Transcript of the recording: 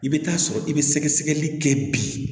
I bɛ taa sɔrɔ i bɛ sɛgɛsɛgɛli kɛ bi